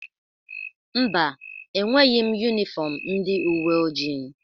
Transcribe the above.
Mba, enweghi m yunifọmụ ndị uweojii.